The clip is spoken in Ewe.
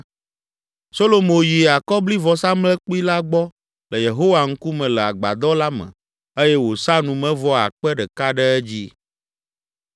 Solomo yi akɔblivɔsamlekpui la gbɔ le Yehowa ŋkume le agbadɔ la me eye wòsa numevɔ akpe ɖeka ɖe edzi.